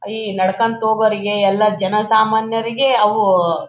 ಈ ನಡ್ಕೊಂತ ಹೋಗೋರಿಗೆ ಎಲ್ಲ ಜನ ಸಾಮಾನ್ಯರಿಗೆ ಅವು --